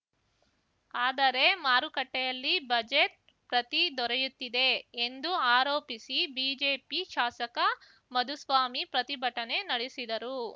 ಆದರೆ ಮಾರುಕಟ್ಟೆಯಲ್ಲಿ ಬಜೆಟ್‌ ಪ್ರತಿ ದೊರೆಯುತ್ತಿದೆ ಎಂದು ಆರೋಪಿಸಿ ಬಿಜೆಪಿ ಶಾಸಕ ಮಧುಸ್ವಾಮಿ ಪ್ರತಿಭಟನೆ ನಡೆಸಿದರು